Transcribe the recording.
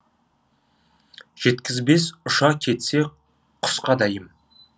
жеткізбес ұша кетсе құсқа дәйім